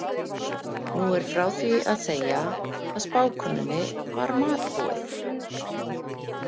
Nú er frá því að segja hvað spákonunni var matbúið.